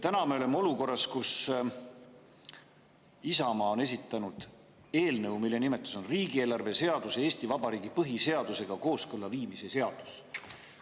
Täna me oleme olukorras, kus Isamaa on esitanud eelnõu, mille nimetus on riigieelarve seaduse Eesti Vabariigi põhiseadusega kooskõlla viimise seaduse eelnõu.